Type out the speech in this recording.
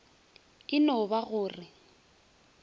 e no ba go re